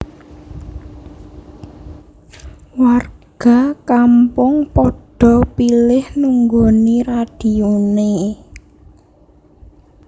Warga kampung padha pilih nunggoni radione